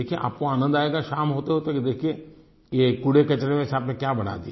देखिये आप को आनंद आयेगा शाम होतेहोते देखिये ये कूड़ेकचरे में से आपने क्या बना दिया